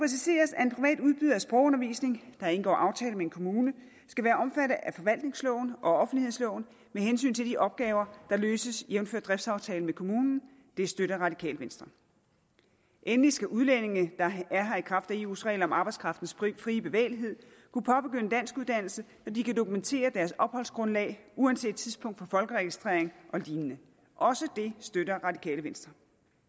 at udbyder af sprogundervisning der indgår aftale med en kommune skal være omfattet af forvaltningsloven og offentlighedsloven med hensyn til de opgaver der løses jævnfør driftsaftalen med kommunen det støtter radikale venstre endelig skal udlændinge der er her i kraft af eus regler om arbejdskraftens fri bevægelighed kunne påbegynde danskuddannelse når de kan dokumentere deres opholdsgrundlag uanset tidspunktet folkeregistrering og lignende også det støtter radikale venstre